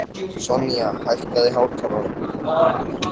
Sonja, hækkaðu í hátalaranum.